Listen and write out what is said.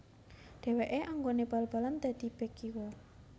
Dheweke anggone bal balan dadi bek kiwa